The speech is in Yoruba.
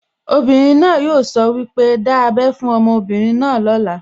Obìnrin náà yóò sọ wípé, 'Dá ábẹ́ fún ọmọbìnrin náà lóla'